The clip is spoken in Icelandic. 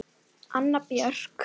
Anna Björk.